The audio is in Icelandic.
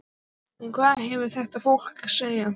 En hvað hefur þetta fólk að segja?